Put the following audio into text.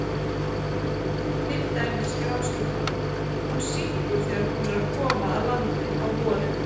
Til dæmis grásleppan, hún syngur þegar hún er að koma að landi á vorin.